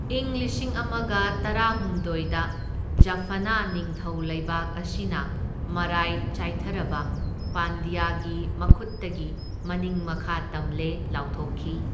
ꯏꯪ ꯂꯤꯁꯤꯡ ꯑꯃꯒ ꯇꯔꯥꯍꯨꯝꯗꯣꯢꯗ ꯖꯥꯐꯅꯥ ꯅꯤꯡꯊꯧ ꯂꯩꯕꯥꯛ ꯑꯁꯤꯅ ꯃꯔꯥꯏ ꯆꯥꯏꯊꯔꯕ ꯄꯥꯟꯗ꯭ꯌꯥꯒꯤ ꯃꯈꯨꯠꯇꯒꯤ ꯃꯅꯤꯡ ꯃꯈꯥ ꯇꯝꯂꯦ ꯂꯥꯎꯊꯣꯛꯈꯤ꯫